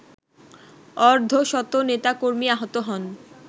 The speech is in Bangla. অর্ধশত নেতাকর্মী আহত হন